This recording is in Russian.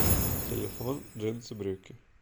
телефон джинсы брюки